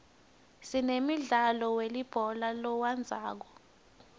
sinemdlalo welibhola letandza